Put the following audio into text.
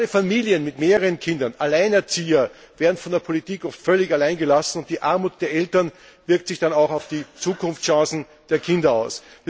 Gerade Familien mit mehreren Kindern oder Alleinerziehende werden von der Politik oft völlig allein gelassen, und die Armut der Eltern wirkt sich dann auch auf die Zukunftschancen der Kinder aus.